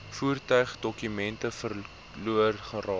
voertuigdokumente verlore geraak